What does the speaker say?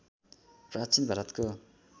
प्राचीन भारतको